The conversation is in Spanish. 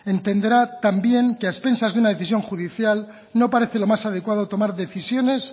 entenderá también que a expensas de una decisión judicial no parece lo más adecuado tomar decisiones